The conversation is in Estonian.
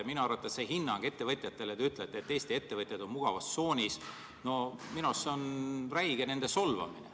Minu arvates on see hinnang ettevõtjatele, kui te ütlesite, et Eesti ettevõtjad on mugavustsoonis, nende räige solvamine.